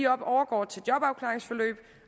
overgår til jobafklaringsforløb